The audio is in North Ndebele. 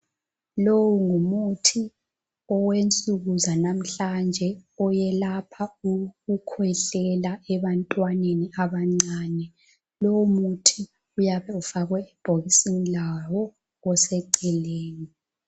Lowu ngumuthi owensuku zalamhlanje oyelapha ukukhwehlela ebantweneni abancane. Lowu muthi uyabe ufakwe ebhokisini lawo oseceleni